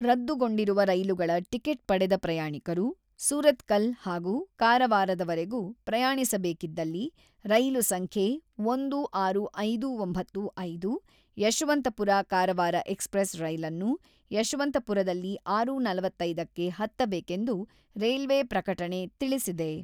ರದ್ದುಗೊಂಡಿರುವ ರೈಲುಗಳ ಟಿಕೆಟ್ ಪಡೆದ ಪ್ರಯಾಣಿಕರು ಸುರತಕಲ್ ಹಾಗೂ ಕಾರವಾರವರೆಗೂ ಪ್ರಯಾಣಿಸ ಬೇಕಿದಲ್ಲಿ ರೈಲು ಸಂಖ್ಯೆ ಒಂದು ಆರು ಐದು ಒಂಬತ್ತು ಐದು ಯಶವಂಪುರ-ಕಾರವಾರ ಎಕಸ್‌ಪ್ರೆಸ್ ರೈಲನ್ನು ಯಶವಂತಪುರದಲ್ಲಿ ಆರು.ನಲವತ್ತೈದಕ್ಕೆ ಹತ್ತಬೇಕೆಂದು ರೈಲ್ವೆ ಪ್ರಕಟಣೆ ತಿಳಿಸಿದೆ.